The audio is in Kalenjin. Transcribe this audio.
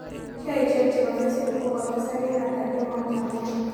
Sheaisiek chebo facebook kogotesak eng' ata kemoutap amut